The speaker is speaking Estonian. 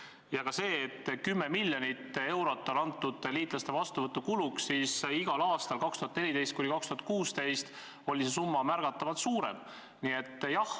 Jah, 10 miljonit eurot on antud liitlaste vastuvõtu kuluks, aga igal aastal perioodil 2014–2016 oli see summa märgatavalt suurem.